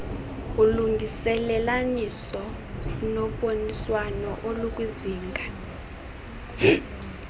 ulungelelaniso noboniswano olukwizinga